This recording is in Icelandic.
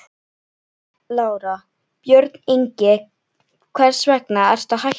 Lára: Björn Ingi, hvers vegna ertu að hætta?